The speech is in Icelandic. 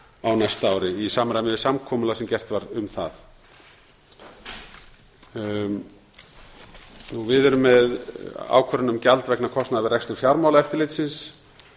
á árinu tvö þúsund og sextán í samræmi við samkomulagi sem gert var um það við erum með gjald vegna kostnaðar við rekstur fjármálaeftirlitsins